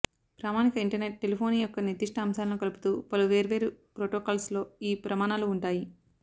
ప్రామాణిక internet telephony యొక్క నిర్దిష్ట అంశాలను కలుపుతూ పలు వేర్వేరు ప్రోటోకాల్స్లో ఈ ప్రమాణాలు ఉంటాయి